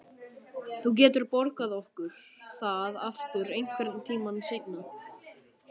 Þú getur borgað okkur það aftur einhvern tíma seinna.